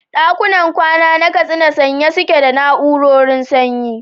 ɗakunan kwana na Katsina sanye suke da na'urorin sanyi.